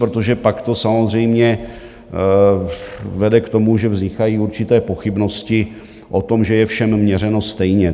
Protože pak to samozřejmě vede k tomu, že vznikají určité pochybnosti o tom, že je všem měřeno stejně.